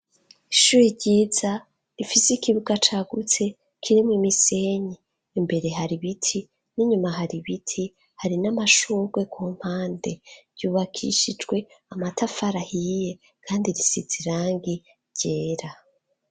Ishure ryiza rifise ikibuga cagutse kiremwo imisenyi imbere hari biti n'inyuma hari ibiti hari n'amashugwe ku mpande yubakishijwe amatafari ahiye kandi zisize irangi ryera.